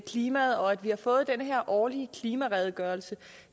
klimaet og at vi har fået den her årlige klimaredegørelse